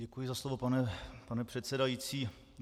Děkuji za slovo, pane předsedající.